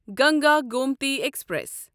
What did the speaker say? Ganga Gomti express